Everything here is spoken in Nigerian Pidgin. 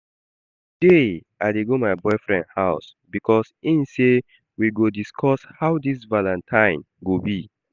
Today I dey go my boyfriend house because im say we go discuss how dis valentine go be